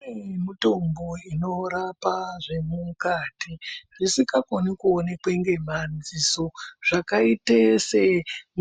Kune mutombo inorapa zve mukati zvisika koni ku onekwe nge madziso zvaka ite se